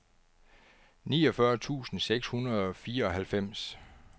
niogfyrre tusind seks hundrede og fireoghalvfems